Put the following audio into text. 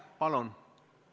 Palun!